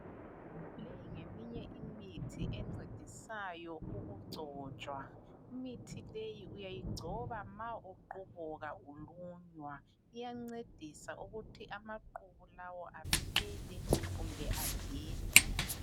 Leyi ngeminye imithi encedisayo ukugcotshwa. Imithi leyi uyayigcoba ma uqubuka ulunywa. Iyancedisa ukuthi amaqubu lawo aphele kumbe adede.